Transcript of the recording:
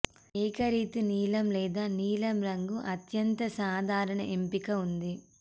ఏకరీతి నీలం లేదా నీలం రంగు అత్యంత సాధారణ ఎంపిక ఉంది